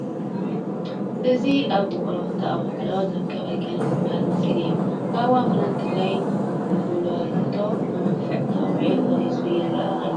እዚ ኣብ ውቕሮ ክልተ ኣውላዕሎ ዝርከብ ኣልነጋሺ ዝበሃል መስጊድ እዩ፡፡ ኣብ እዋን ኲናት ትግራይ ጉልላቱ ብመፍዕ ተወቂዑ ፈሪሱ ይርአ ኣሎ፡፡